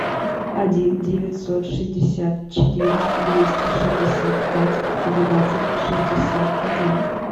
один девятьсот шестьдесят четыре двести шестьдесят пять двенадцать шестьдесят один